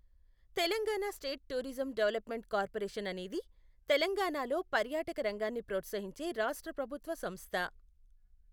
Telangana state tourism development corporation అనేది తెలంగాణలో పర్యాటక రంగాన్ని ప్రోత్సహించే రాష్ట్ర ప్రభుత్వ సంస్థ.